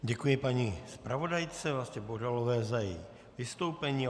Děkuji paní zpravodajce Vlastě Bohdalové za její vystoupení.